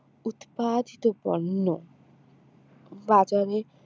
উৎপাদিত পণ্য বাজারে